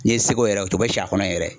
N'i ye se k'o yɛrɛ, o bɛ tô ka si a kɔnɔ yɛrɛ.